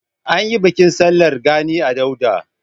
An yi bikin sallar gani a Dauda.